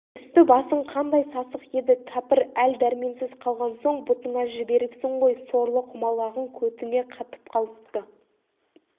үсті-басың қандай сасық еді кәпір әл-дәрменсіз қалған соң бұтыңа жіберіпсің ғой сорлы құмалағың көтіңе қатып қалыпты